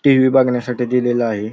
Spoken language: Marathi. टी. वी. बघण्यासाठी दिलेला आहे.